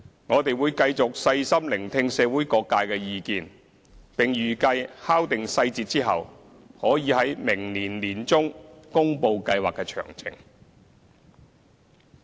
我們會繼續細心聆聽社會各界的意見，並預計在敲定細節後，可以於明年年中公布計劃的詳情。